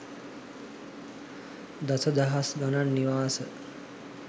දස දහස් ගණන් නිවාස